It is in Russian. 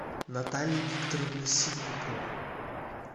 наталья викторовна ситникова